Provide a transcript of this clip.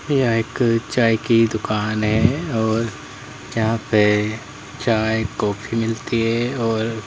यह एक चाय की दुकान है और जहां पे चाय कॉफी मिलती है और--